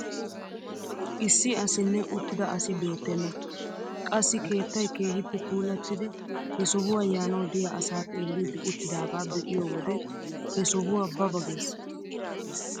Issi asinne uttida asi beettena! qassi keettay keehippe puulattidi he sohuwaa yaanawu diyaa asaa xeellidi uttidoogaa be'iyoo wode he sohuwaa ba ba ges!